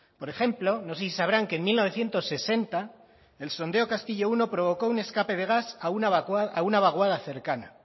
por ejemplo no sé si sabrán que en mil novecientos sesenta el sondeo castillomenos uno provocó un escape de gas a una vaguada cercana